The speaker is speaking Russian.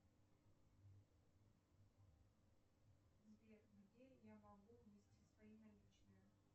сбер где я могу внести свои наличные